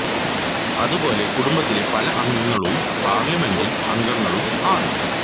അതു പോലെ കുടുംബത്തിലെ പല അംഗങ്ങളും പാർലമെന്റ്റിൽ അംഗങ്ങളും ആണ്